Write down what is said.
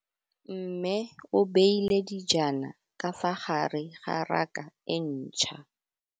Mmê o beile dijana ka fa gare ga raka e ntšha.